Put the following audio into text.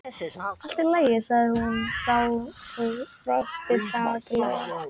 Allt í lagi- sagði hún þá og brosti dapurlega.